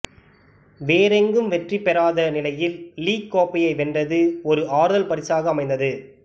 வேறெங்கும் வெற்றி பெறாத நிலையில் லீக் கோப்பையை வென்றது ஒரு ஆறுதல் பரிசாக அமைந்தது